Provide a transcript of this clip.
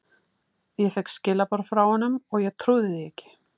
Ég fékk skilaboð frá honum og ég trúði því ekki.